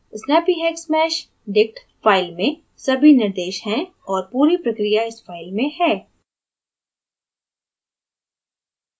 snappyhexmeshdict file में सभी निर्देश हैं और पूरी प्रक्रिया इस file में है